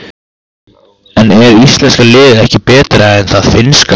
En er íslenska liðið ekki betra en það finnska?